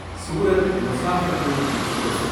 Surat Muzaffarpur express